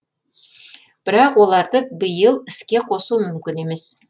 бірақ оларды биыл іске қосу мүмкін емес